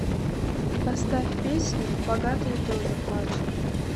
поставь песню богатые тоже плачут